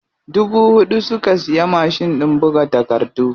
Dubu huɗu suka siya mashin ɗin buga takardu.